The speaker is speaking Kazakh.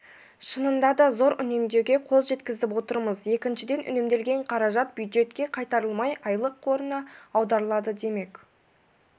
шынында да зор үнемдеуге қол жеткізіп отырмыз екіншіден үнемделген қаражат бюджетке қайтарылмай айлық қорына аударылады демек